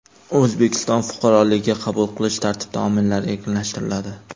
O‘zbekiston fuqaroligiga qabul qilish tartib-taomillari erkinlashtiriladi.